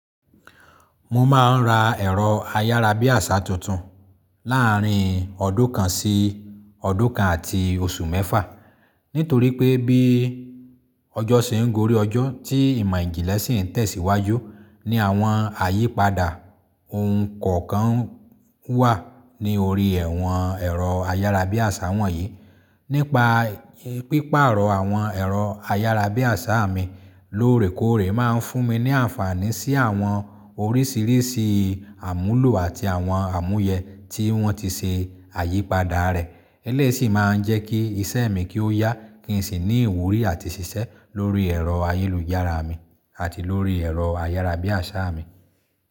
Mo máa ń ra ẹ̀rọ ayárabíàṣá tuntun láàrín ọdún kan sí ọdún kan àti oṣù mẹ́fà. Nítorí pé bí ọjọ́ ṣe ń gorí ọjọ́, tí ìmọ̀ ìjìnlẹ̀ sì ń tẹ̀síwájú ní àwọn àyípadà, ohun kọ̀ọ̀kan n wà ní orí ẹ̀wọ̀n ẹ̀rọ ayárabíàṣá wọ̀nyí. Nípa pípaarọ̀ àwọn ẹ̀rọ ayárabíàṣá mi lóòrèkóòrè máa ń fún mi ní àǹfààní sí àwọn oríṣiríṣi àmúlò àti àwọn àmúyẹ tí wọ́n ti ṣe àyípadà rẹ̀. Eléyìí sì máa ń jẹ́ kí iṣẹ́ mi kí ó yá kí n sì ní ìwúrí àti ṣiṣẹ́ lórí ẹ̀rọ ayélujára mi àti lórí ẹ̀rọ ayárabíàṣá mi.